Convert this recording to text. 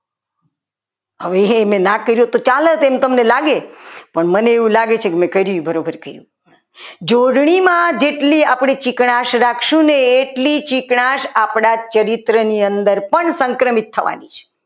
હવે એને ના કરી હોત તો ચાલો એવું તમને લાગ્યું લાગે પણ મને એવું લાગે છે કે મેં કર્યું એ બરાબર કર્યું જોડણીમાં જેટલી આપણે ચીકણા જ રાખશું ને એટલી ચીકણાશ આપણા ચરિત્ર ની અંદર સંક્રમિત થવાની છે.